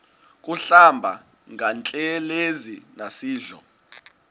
kuhlamba ngantelezi nasidlo